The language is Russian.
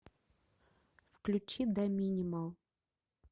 включи даминимал